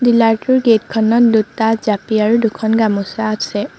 Pillar টোৰ gate খনত দুটা জাপি আৰু দুখন গামোচা আছে।